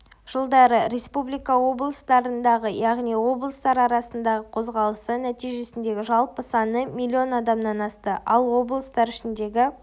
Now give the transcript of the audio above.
жылдары республика облыстарындағы яғни облыстар арасындағы қозғалысы нәтижесіндегі жалпы саны миллион адамнан асты ал облыстар ішіндегі